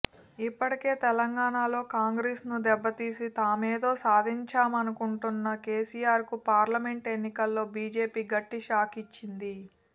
ఇప్పటికే తెలంగాణాలో కాంగ్రెస్ ను దెబ్బతీసి తామేదో సాధించామనుకుంటున్న కెసిఆర్ కు పార్లమెంట్ ఎన్నికల్లో బీజేపీ గట్టి షాక్ ఇచ్చింది